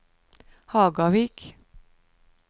Hagavik